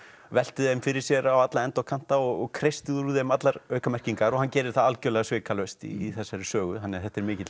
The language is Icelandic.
velti þeim fyrir sér á alla enda og kanta og kreisti úr þeim allar hann gerir það algjörlega svikalaust í þessari sögu þannig að þetta er mikil